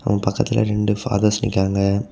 பக்கத்துல ரெண்டு ஃபாதர்ஸ் நிக்கியாங்க.